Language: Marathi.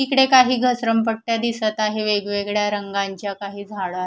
इकडे काही घसरमपट्ट्या दिसत आहे वेगवेगळ्या रंगांच्या काही झाडं आ--